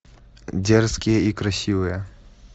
дерзкие и красивые